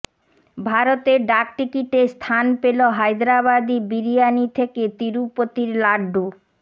ভারতের ডাক টিকিটে স্থান পেল হায়দরাবাদী বিরিয়ানি থেকে তিরুপতির লাড্ডু